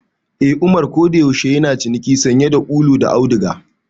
Eh, Umar kodayaushe yana ciniki sanye da ulu da auduga.